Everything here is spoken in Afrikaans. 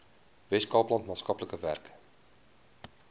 weskaapland maatskaplike werk